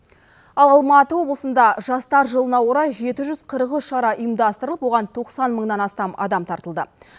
ал алматы облысында жастар жылына орай жеті жүз қырық үш шара ұйымдастырылып оған тоқсан мыңнан астам адам тартылды